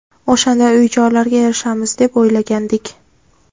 O‘shanday uy-joylarga erishamiz deb o‘ylagandik.